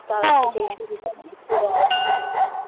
ঘুরে আসবো